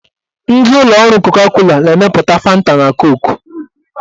Ndị ụlọ ọrụ koka-kola na-emepụta fanta na koku.